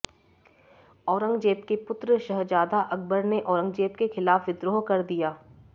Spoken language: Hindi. औरंगजेब के पुत्र शहजादा अकबर ने औरंगजेब के ख़िलाफ़ विद्रोह कर दिया